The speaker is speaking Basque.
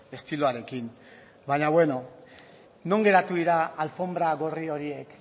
estiloarekin baina beno non geratu dira alfonbra gorri horiek